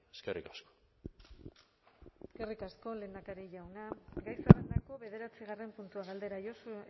eskerrik asko eskerrik asko lehendakari jauna gai zerrendako bederatzigarren puntua galdera josu